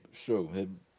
sögum